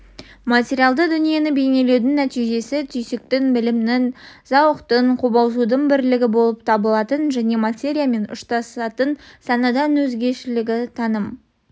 материалды дүниені бейнелеудің нәтижесі түйсіктің білімнің зауықтың қобалжудың бірлігі болып табылатын және материямен ұштасатын санадан өзгешелігі таным